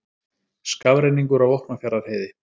Skafrenningur á Vopnafjarðarheiði